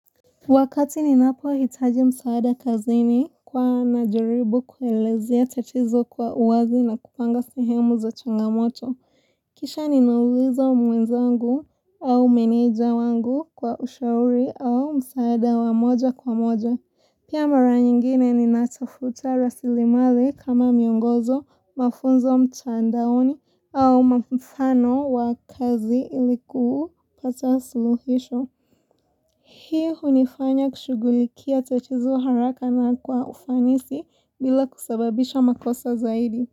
Wakati ninapohitaji msaada kazini huwa najaribu kuelezea tatizo kwa uwazi na kupanga sehemu za changamoto. Kisha ninauliza mwenzangu au meneja wangu kwa ushauri au msaada wa moja kwa moja. Pia mara nyingine ninatafuta rasili mali kama miongozo, mafunzo mtandaoni au mfano wa kazi ili ku pata suluhisho. Hii hunifanya kushughulikia tatizo haraka na kwa ufanisi bila kusababisha makosa zaidi.